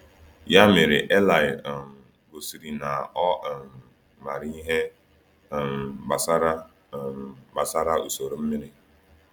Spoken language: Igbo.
Ya mere Eli um gosiri na ọ um maara ihe um gbasara um gbasara usoro mmiri.